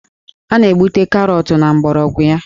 A na-egbute Karọtụ na mgbọrọgwụ ya